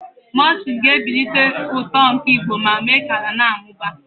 mulching ga-ebelata uto nke igbo ma mee ka ala na-amụba.